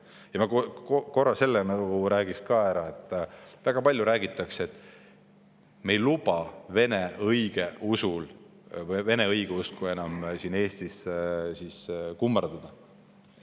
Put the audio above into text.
Ja ma ütlen selle ka ära, et väga palju räägitakse, et me ei luba vene õigeusku enam siin Eestis kummardada.